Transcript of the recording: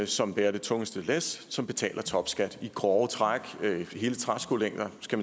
som bærer det tungeste læs som betaler topskat i grove træk hele træskolængder skal